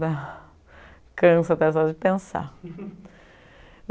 Dá cansa até só de pensar.